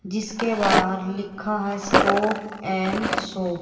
जिसके बाहर लिखा है स्टॉप एन्ड शो ।